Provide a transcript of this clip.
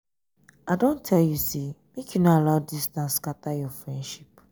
i don tell you sey make you no allow distance scatter your friendship.